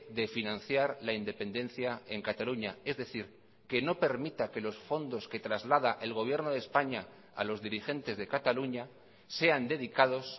de financiar la independencia en cataluña es decir que no permita que los fondos que traslada el gobierno de españa a los dirigentes de cataluña sean dedicados